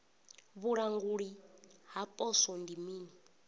vhulanguli ha poswo ndi mini